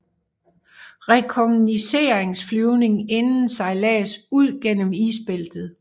Rekognosceringsflyvning inden sejlads ud gennem isbæltet